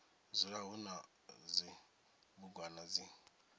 dzula hu na zwibugwana zwi